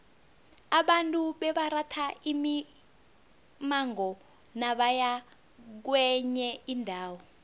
abantu bebaratha imimango nabaya kwenye indawo